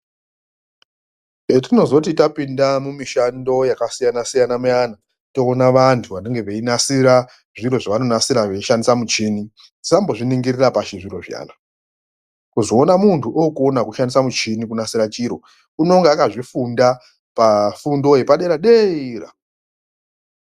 Hetinozoti tapinda mumishando yakasiyana siyana muyani toona vantu vanenge veinasira zviro zvavanonasira veishandisa michini tisambozviningirira pashi zviro zviyana, kuzoona muntu okone kushandisa muchini kunasira chiro unenge akazvifunda pafundo yepadera dera.